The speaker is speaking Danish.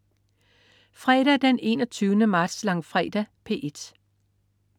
Fredag den 21. marts. Langfredag - P1: